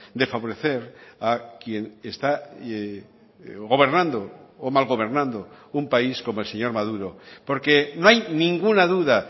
de favorecer a quien está gobernando o mal gobernando un país como el señor maduro porque no hay ninguna duda